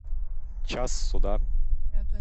час суда